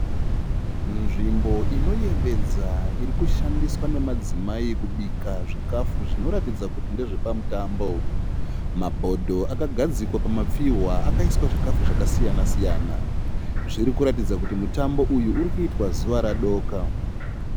Nzvimbo inoyevedza irikushandiswa nemadzimai kubika zvikafu zvinoratidza kuti ndezve pamutambo, mabhodho akagadzikwa pamapfihwa akaiswa zvikafu zvakasiyana siyana. Zvirikuratidza kuti mutambo uyu urikuitwa zuva radoka.